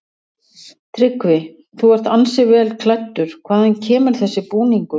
Tryggvi: Þú ert ansi vel klæddur, hvaðan kemur þessi búningur?